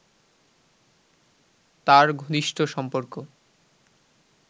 তাঁর ঘনিষ্ঠ সম্পর্ক